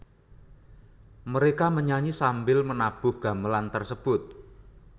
Mereka menyanyi sambil menabuh gamelan tersebut